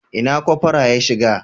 Ina cofora ya shiga?